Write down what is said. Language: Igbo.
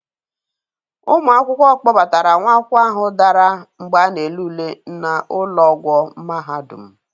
Ụmụ akwụkwọ kpọbara nwa akwụkwọ ahụ dara mgbe a na-ele ule na ụlọ ọgwọ mahadum.